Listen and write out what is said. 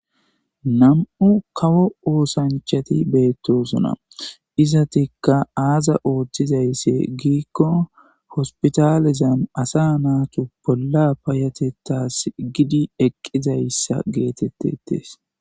Nam7u kawo oosanchati beettosuna izatikka aaza ooththizaysse giikko hospitalizam asa naatu bolla payatettas gidi eqqizayssa geetettetes.